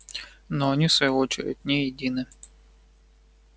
но и они в свою очередь не едины